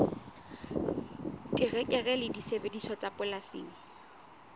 terekere le disebediswa tsa polasing